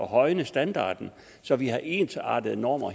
højne standarden så vi har ensartede normer